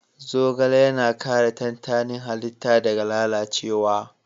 Zogale yana kare tantanin halitta daga lalacewa